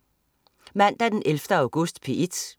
Mandag den 11. august - P1: